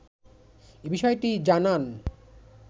এ বিষয়টি জানান